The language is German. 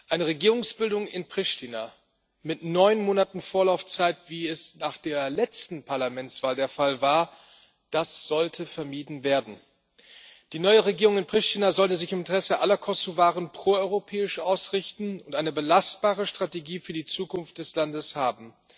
Eine Regierungsbildung in Pristina mit neun Monaten Vorlaufzeit, wie es nach der letzten Parlamentswahl der Fall war, sollte vermieden werden. Die neue Regierung in Pristina sollte sich im Interesse aller Kosovaren proeuropäisch ausrichten und eine belastbare Strategie für die Zukunft des Landes haben.